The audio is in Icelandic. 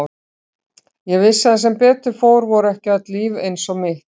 Ég vissi að sem betur fór voru ekki öll líf eins og mitt.